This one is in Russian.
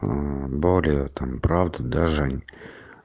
более там правда да жень